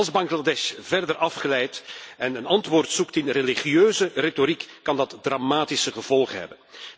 Als Bangladesh verder afglijdt en een antwoord zoekt in religieuze retoriek, kan dat dramatische gevolgen hebben.